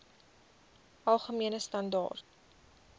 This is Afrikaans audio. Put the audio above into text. algemene standaar